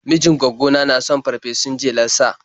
Mijin gwaggona na son farfesun jelar sa.